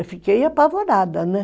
Eu fiquei apavorada, né?